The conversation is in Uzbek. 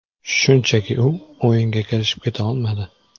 Shunchaki u o‘yinga kirishib keta olmadi.